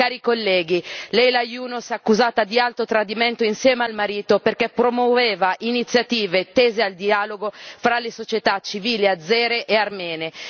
Cari colleghi, Leyla Yunus accusata di alto tradimento insieme al marito perché promuoveva iniziative tese al dialogo fra le società civile azere e armene.